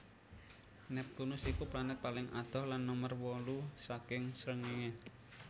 Neptunus iku planet paling adoh lan nomer wolu saking srengenge